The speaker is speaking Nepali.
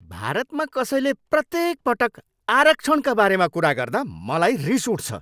भारतमा कसैले प्रत्येक पटक आरक्षणका बारेमा कुरा गर्दा मलाई रिस उठ्छ।